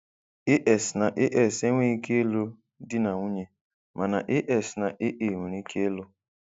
AS na AS enweghị ike ịlụ di na nwunye, mana AS na AA nwere ike ịlụ.